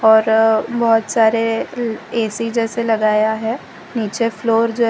और बहोत सारे ए_सी जैसे लगाया है नीचे फ्लोर जै --